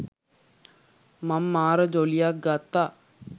මං මාර ජොලියක් ගත්තා.